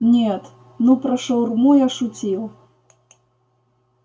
нет ну про шаурму я шутил